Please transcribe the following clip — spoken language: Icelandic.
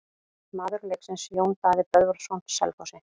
Maður leiksins: Jón Daði Böðvarsson Selfossi.